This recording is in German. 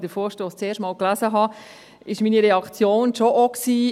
Als ich den Vorstoss zum ersten Mal las, war meine Reaktion schon auch: